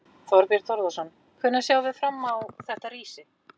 Þorbjörn Þórðarson: Hvenær sjáum við fram á þetta rísi?